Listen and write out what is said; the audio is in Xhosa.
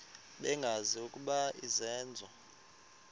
bengazi ukuba izenzo